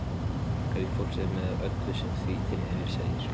Einkalíf fólks með öllu sem því tilheyrir, segir